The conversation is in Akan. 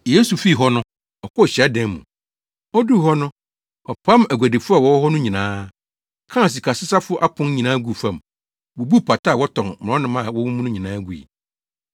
Yesu fii hɔ no, ɔkɔɔ hyiadan mu. Oduu hɔ no, ɔpam aguadifo a wɔwɔ hɔ no nyinaa, kaa sikasesafo apon nyinaa guu fam, bubuu pata a wɔtɔn mmorɔnoma wɔ mu no nyinaa gui.